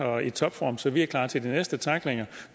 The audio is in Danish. og i topform så vi er klar til de næste tacklinger